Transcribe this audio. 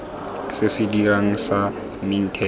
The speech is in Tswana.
se se dirang sa mintech